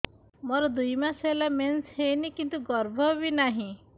ମୋର ଦୁଇ ମାସ ହେଲା ମେନ୍ସ ହେଇନି କିନ୍ତୁ ଗର୍ଭ ବି ନାହିଁ